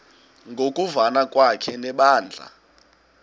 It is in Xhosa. ngokuvana kwakhe nebandla